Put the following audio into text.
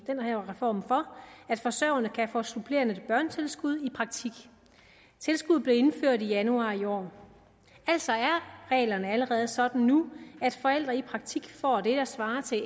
den her reform at forsørgerne kan få supplerende børnetilskud i praktik tilskuddet blev indført i januar i år altså er reglerne allerede sådan nu at forældre i praktik får det der svarer til